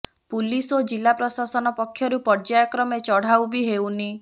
police ଓ ଜିଲ୍ଲା ପ୍ରଶାସନ ପକ୍ଷରୁ ପର୍ଯ୍ୟାୟ କ୍ରମେ ଚଢଉ ବି ହେଉନି